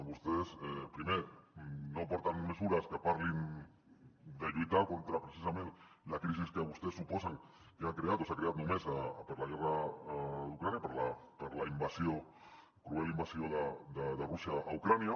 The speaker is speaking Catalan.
vostès primer no aporten mesures que parlin de lluitar contra precisament la crisi que vostès suposen que ha creat o s’ha creat només per la guerra d’ucraïna per la invasió cruel invasió de rússia a ucraïna